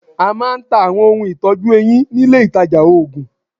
A máa ń ta Àwọn ohun ìtọ́jú eyín nílé ìtajà òògùn.